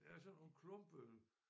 Ja sådan nogle klumpede